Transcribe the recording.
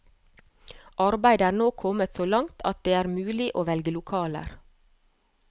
Arbeidet er nå kommet så langt at det er mulig å velge lokaler.